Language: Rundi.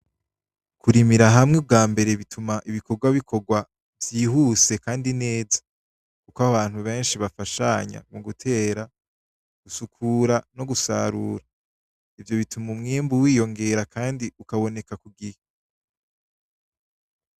Kurimira hamwe ubwambere bituma ibikorwa bikorwa vyihuse kandi neza kuko abantu benshi bafashanya mu gutera, gusukura no gusarura, ivyo bituma umwimbu wiyongera kandi ukaboneka ku gihe.